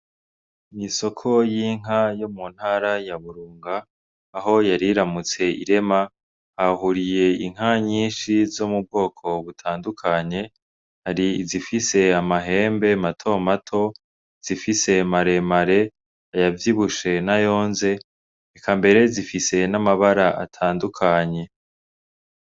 N’isoko y’inka yo mu ntara ya Burunga, aho yariramutse irema hahuriye inka nyinshi zo mu bwoko butandukanye hari izifise amahembe matomato, izifise maremare ayavyibushe n’ayonze eka mbere zifise n’amabara atandukanye.